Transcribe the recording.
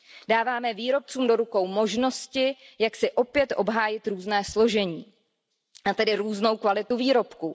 Dáváme výrobcům do rukou možnosti, jak si opět obhájit různé složení a tedy různou kvalitu výrobků.